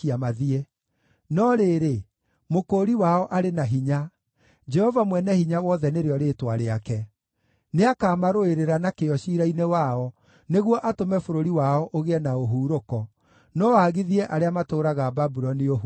No rĩrĩ, Mũkũũri wao arĩ na hinya; Jehova Mwene-Hinya-Wothe nĩrĩo rĩĩtwa rĩake. Nĩakamarũĩrĩra na kĩyo ciira-inĩ wao, nĩguo atũme bũrũri wao ũgĩe na ũhurũko, no aagithie arĩa matũũraga Babuloni ũhurũko.”